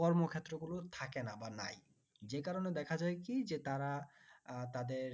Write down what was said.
কর্মক্ষেত্র গুলো থাকে না বা নাই যে কারণে দেখা যাই কি যে তারা আহ তাদের